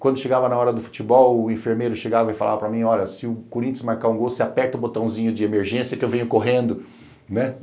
Quando chegava na hora do futebol, o enfermeiro chegava e falava para mim, olha, se o Corinthians marcar um gol, você aperta o botãozinho de emergência que eu venho correndo, né?